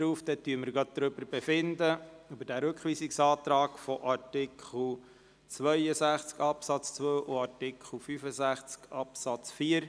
Wir befinden also direkt über die Rückweisungsanträge zu Artikel 162 Absatz 2 und Artikel 165 Absatz 4.